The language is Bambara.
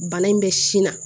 Bana in bɛ sin na